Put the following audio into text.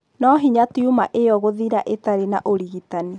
Nĩ hinya tumor ĩyo gũthira ĩtarĩ na ũrigitani.